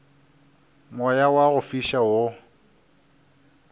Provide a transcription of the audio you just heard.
moya wa go fiša wo